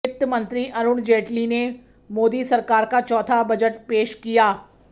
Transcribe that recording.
वित्त मंत्री अरुण जेटली ने मोदी सरकार का चौथा बजट पेश किया